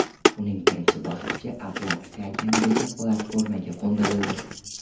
Uning birinchi bosqichi Atlantika okeanidagi platformaga qo‘ndirildi.